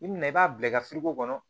I bina i b'a bila i ka kɔnɔ